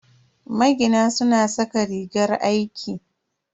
Magina suna saka rigar aiki.